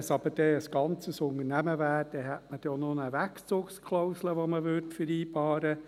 Wenn es aber ein ganzes Unternehmen wäre, dann hätte man dann auch noch eine Wegzugsklausel, die man vereinbaren würde.